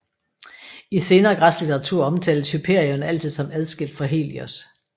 I senere græsk litteratur omtales Hyperion altid som adskilt fra Helios